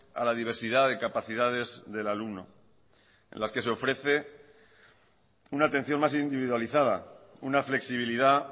a la diversidad de capacidades del alumno en las que se ofrece una atención más individualizada una flexibilidad